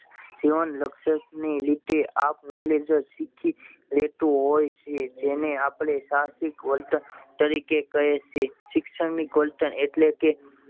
જીવન લક્ષણ ના લીધે આપ મેળે જે સીખી લેતું હોય છે તેને આપડે સાહસિક વર્તન તરીકે કહીએ છીએ સૈક્ષણિક વર્તન એટલે કે